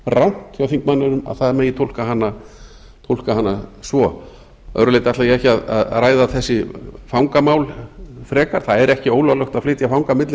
rangt hjá þingmanninum að það megi túlka hana svo að öðru leyti ætla ég ekki að ræða þessi fangamál frekar það er ekki ólöglegt að flytja fanga milli